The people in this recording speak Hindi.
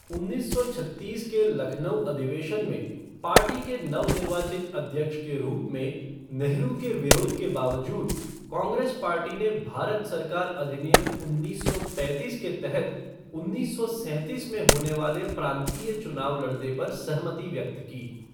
उन्नीस सौ छत्तीस के लखनऊ अधिवेशन में, पार्टी के नव निर्वाचित अध्यक्ष के रूप में नेहरू के विरोध के बावजूद, कांग्रेस पार्टी ने भारत सरकार अधिनियम उन्नीस सौ पैंतीस के तहत उन्नीस सौ सैंतीस में होने वाले प्रांतीय चुनाव लड़ने पर सहमति व्यक्त की।